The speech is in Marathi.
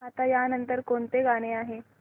आता या नंतर कोणतं गाणं आहे